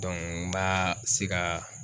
n b'a se ga